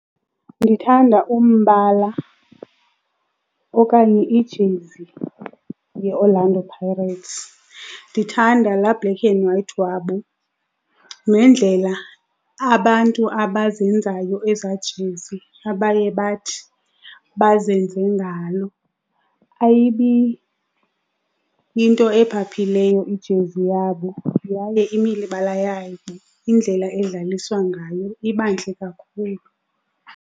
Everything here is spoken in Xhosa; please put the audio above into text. Ndithanda umbala okanye ijezi yeOrlando Pirates. Ndithanda laa black and white wabo nendlela abantu abazenzayo ezajezi abaye bathi bazenze ngayo. Ayibi yinto ephaphakileyo ijezi yabo yaye imibala yayo indlela edlaliswa ngayo iba ntle kakhulu.